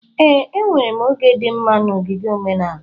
Ee, enwere m oge dị mma na ogige omenala.